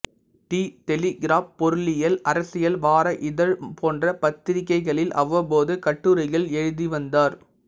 தி Telegraph பொருளியல் அரசியல் வார இதழ் போன்ற பத்திரிக்கைகளில் அவ்வப்போது கட்டுரைகள் எழுதி வந்தார்